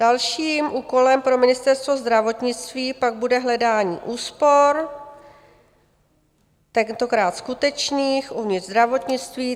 Dalším úkolem pro Ministerstvo zdravotnictví pak bude hledání úspor, tentokrát skutečných, uvnitř zdravotnictví.